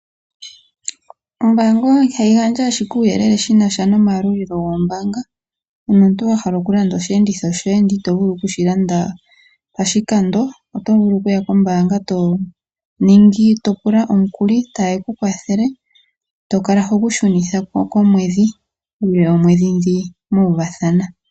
Ombaanga ihayi gandja owala uuyelele shi nasha nomayalulilo gombaanga, uuna omuntu wa hala okulanda oshiyenditho shoye ndele ito vulu okushi landa poshikando otovulu okuya kombaanga eto pula omukuli eto kala hogu futu uule woomwedhi dhoka mwa uvathana.